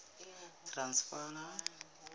transvala